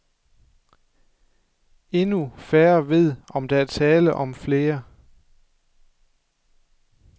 Endnu færre ved, om der er tale om flere.